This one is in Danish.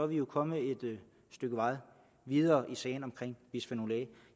vi kommet et stykke vej videre i sagen om bisfenol a